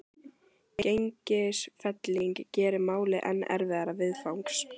Gengisfelling gerir málið enn erfiðara viðfangs.